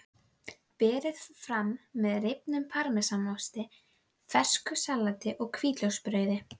Nú var hann kominn, glæsilegur á velli og hress.